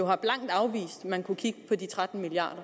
har blankt afvist at man kunne kigge på de tretten milliard